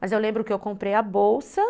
Mas eu lembro que eu comprei a bolsa.